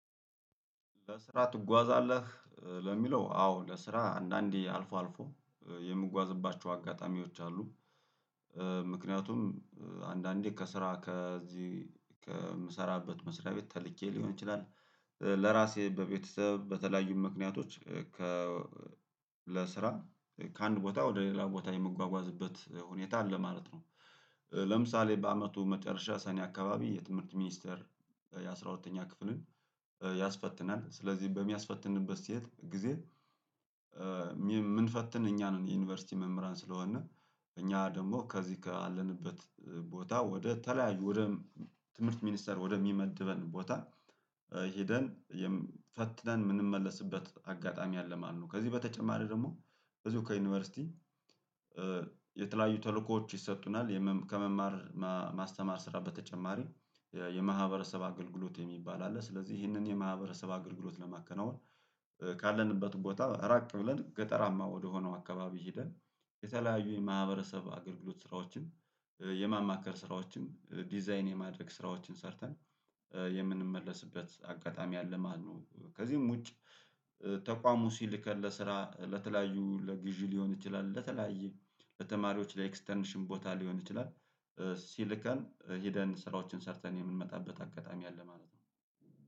ለስራ ትጓዛለህ ለሚለው አዎ ለስራ አንዳንዴ አልፎ አልፎ የምጓዝባቸው አጋጣሚዎች አሉ። ምክንያቱም አንዳንዴ ከስራ ከዚህ ከምሰራበት መስሪያ ቤት ተልኬ ሊሆን ይችላል። ለራሴ በቤተሰብ በተለያዩ ምክንያቶች ከ ለስራ ከአንድ ቦታ ወደ ሌላ ቦታ የምጓጓዝበት ሁኔታ አለ ማለት ነው። ለምሳሌ በአመቱ መጨረሻ ሰኔ አካባቢ የትምህርት ሚኒስተር የአሥራ ሁለተኛ ክፍልን ያስፈትናል ስለዚህ በሚያስፈትንበት ሴት ጊዜ ሚየምንፈትን እኛ ነን የዩኒቨርሲቲ መምህራን ስለሆነ እኛ ደግሞ ከዚህ ካለንበት ቦታ ወደ ተለያዩ ወደም ትምህርት ሚኒስተር ወደሚመድበን ቦታ ሄደን የም ፈትነን የምንመለስበት አጋጣሚ አለ ማለት ነው። ከዚህ በተጨማሪ ደግሞ ብዙ ከዩኒቨርሲቲ የተለያዩ ተልእኮዎች ይሰጡናል የመምከመማር ማማስተማር ስራ በተጨማሪ የማህበረሰብ አገልግሎት የሚባል አለ። ስለዚህ ይህንን የማህበረሰብ አገልግሎት ለማከናወን ካለንበት ቦታ ራቅ ብለን ገጠራማ ወደሆነው አካባቢ ሄደን የተለያዩ የማህበረሰብ አገልግሎት ስራዎችን የማማከር ስራዎችን ዲዛይን የማድረግ ስራዎችን ሰርተን የምንመለስበት አጋጣሚ አለ ማለት ነው። ከዚህም ውጭ ተቋሙ ሲልከን ለስራ ለተለያዩ ለግዢ ሊሆን ይችላል ለተለያዩ በተማሪዎች ላይ ኤክስተርንሽን ቦታ ሊሆን ይችላል። ሲልከን ሄደን ስራዎችን ሰርተን የምንመጣበት አጋጣሚ አለ ማለት ነው።